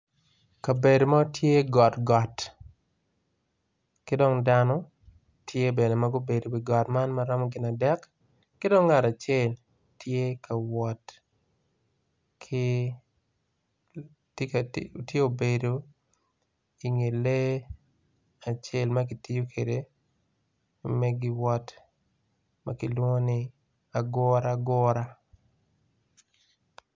Kabedo mo tye got got ki dong dano tye bene ma gubedo i wi got man maromo gin adek ki dong ngat acel tye ka wot ki tye obedo inge lee acel ma kitiyo kwede me giwot ma kilwongo ni aguragura.